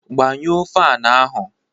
Gbanyụọ fan ahụ!